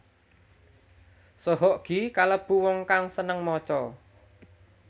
Soe Hok Gie kalêbu wong kang sênêng maca